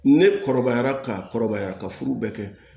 Ne kɔrɔbayara ka kɔrɔbaya ka furu bɛɛ kɛ